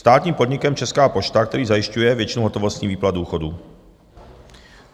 státním podnikem Česká pošta, která zajišťuje většinu hotovostních výplat důchodů,